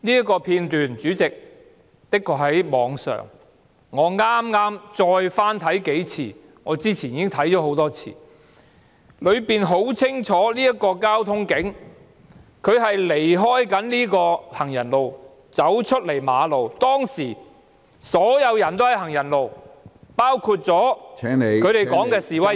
該片段確實在網上流傳，我剛才再翻看數次——我先前已觀看多次——片段清楚顯示該名交通警員離開行人路走出馬路，當時所有人均在行人路上，包括警方所說的示威者......